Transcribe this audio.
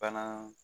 Bana